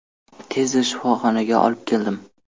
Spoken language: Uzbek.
– Tezda shifoxonaga olib keldim.